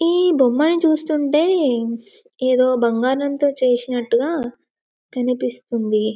ఈ బొమ్మలు చూస్తుంటే ఏదో బంగారంతో చేసినట్టుగా కనిపిస్తుంది.